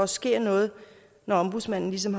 sker noget når ombudsmanden ligesom